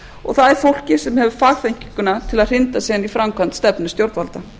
og það er fólkið sem hefur fagþekkinguna til að hrinda síðan í framkvæmd stefnu stjórnvalda